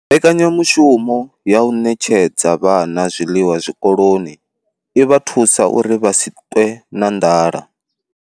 Mbekanyamushumo ya u ṋetshedza vhana zwiḽiwa zwikoloni i vha thusa uri vha si ṱwe na nḓala.